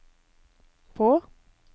på